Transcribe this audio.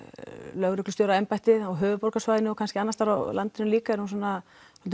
lögreglustjóraembættið á höfuðborgarsvæðinu og kannski annars staðar á landinu líka eru svona